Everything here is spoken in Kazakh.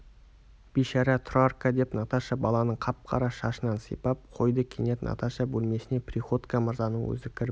бишара тұрарка деп наташа баланың қап-қара шашынан сипап қойды кенет наташа бөлмесіне приходько мырзаның өзі кіріп